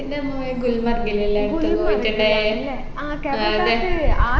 പിന്നെ നമ്മ പോയത് ഗുൽമർഗിലല്ലേ അടുത്തത് പോയിട്ടിണ്ടായേ